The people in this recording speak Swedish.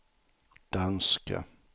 danska